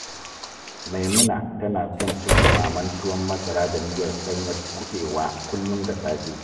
Maimuna tana son cin ɗumamen tuwon masara da miyar ɗanyar kuɓewa kullum da safe